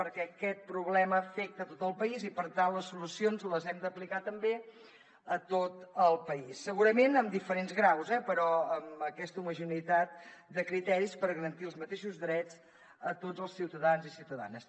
perquè aquest problema afecta tot el país i per tant les solucions les hem d’aplicar també a tot el país segurament en diferents graus eh però amb aquesta homogeneïtat de criteris per garantir els mateixos drets a tots els ciutadans i ciutadanes